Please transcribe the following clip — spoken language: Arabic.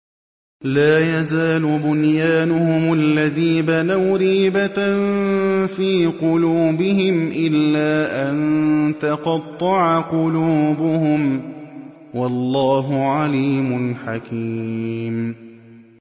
لَا يَزَالُ بُنْيَانُهُمُ الَّذِي بَنَوْا رِيبَةً فِي قُلُوبِهِمْ إِلَّا أَن تَقَطَّعَ قُلُوبُهُمْ ۗ وَاللَّهُ عَلِيمٌ حَكِيمٌ